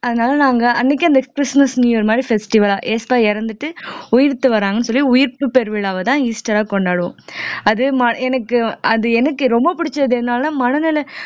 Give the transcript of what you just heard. அதனால நாங்க அன்னைக்கே அந்த கிறிஸ்துமஸ் நியூ இயர் மாதிரி festival அ ஏசப்பா இறந்துட்டு உயிர்த்து வராங்கன்னு சொல்லி உயிர்ப்பு பெருவிழாவைதான் ஈஸ்டர்ஆ கொண்டாடுவோம் அது எனக்கு அது எனக்கு ரொம்ப பிடிச்சது என்னன்னா மனநிலை